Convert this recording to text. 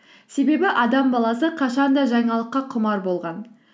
себебі адам баласы қашан да жаңалыққа құмар болған